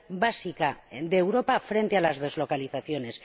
básica de Europa frente a las deslocalizaciones?